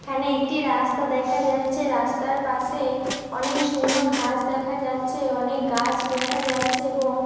এখানে একটি রাস্তা দেখা যাচ্ছে রাস্তার পাশে অনেক সুন্দর ঘাস দেখা যাচ্ছে অনেক গাছ দেখা যাচ্ছে এবং--